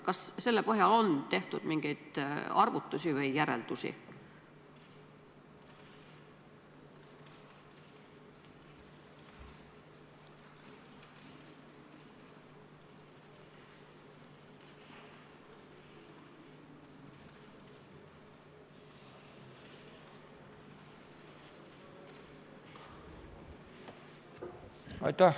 Kas selle põhjal on tehtud mingeid arvutusi või järeldusi?